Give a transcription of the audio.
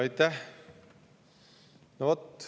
Aitäh!